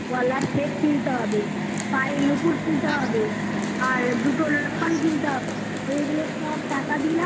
গলার সেট কিনতে হবে পায়ের নুপুর কিনতে হবে আর দুটো লক্ষণ কিনতে হবে এগুলো সব টাকা